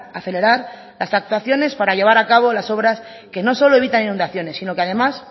acelerar las actuaciones para llevar a cabo las obras que no solo evitan inundaciones sino que además